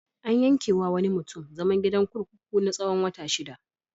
An yanke wa wani mutum zaman gidan kurkuku na tsawon wata shida.